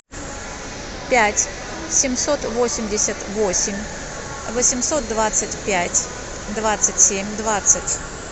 пять семьсот восемьдесят восемь восемьсот двадцать пять двадцать семь двадцать